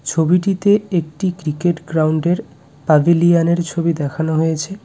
ছবিটিতে একটি cricket ground -এর পাবিলিওন -এর ছবি দেখানো হয়েছে।